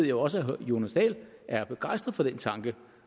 jo også at herre jonas dahl er begejstret for den tanke